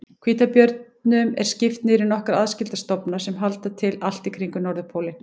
Hvítabjörnum er skipt niður í nokkra aðskilda stofna sem halda til allt í kringum norðurpólinn.